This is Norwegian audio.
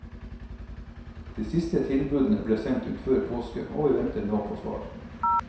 De siste tilbudene ble sendt ut før påske, og vi venter nå på svar.